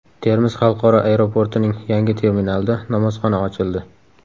Termiz xalqaro aeroportining yangi terminalida namozxona ochildi .